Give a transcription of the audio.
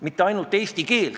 Aitäh, lugupeetud eesistuja!